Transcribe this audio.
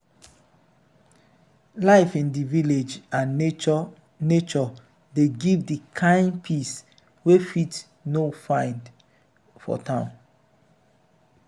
you don notice sey e dey help reduce stress level if you stay close to to nature?